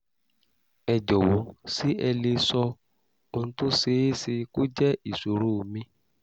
ẹ jọ̀wọ́ ṣé ẹ lè sọ ohun tó ṣeé ṣe kó jẹ́ ìṣòro mi?